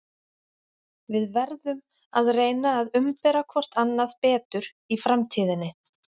Við verðum að reyna að umbera hvort annað betur í framtíðinni.